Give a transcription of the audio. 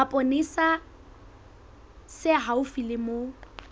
mapolesa se haufi le moo